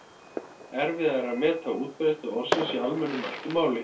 Erfiðara er að meta útbreiðslu orðsins í almennu mæltu máli.